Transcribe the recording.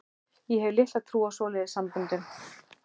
Ég hef litla trú á svoleiðis samböndum.